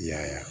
I y'a ye